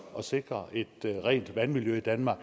at sikre et rent vandmiljø i danmark